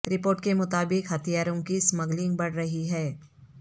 report کے مطابق ہتھیاروں کی سمگلنگ بڑھ رہی ہے